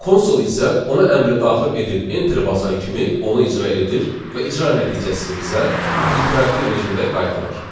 Konsol isə ona əmri daxil edib enter basan kimi onu icra edir və icra nəticəsini bizə interaktiv rejimdə qaytarır.